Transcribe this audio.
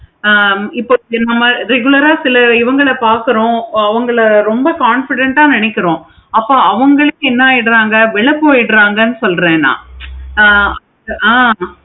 ஆஹ் இப்போ regular ஆஹ் simple ஆஹ் உங்களை பார்க்கிறோம். அவனுங்க ரொம்ப confident ஆஹ் நினைக்கிறோம். அப்போ அவுங்களுக்கு என்ன ஆகிடுறாங்க விலை போயிடுறாங்க சொல்றேன் நான் ஆஹ் ஆஹ்